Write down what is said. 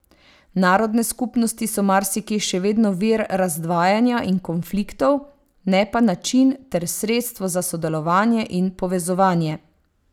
Narodne skupnosti so marsikje še vedno vir razdvajanja in konfliktov, ne pa način ter sredstvo za sodelovanje in povezovanje.